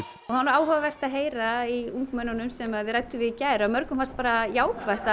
var nú áhugavert að heyra í ungmennunum sem þið rædduð við í gær að mörgum fannst bara jákvætt að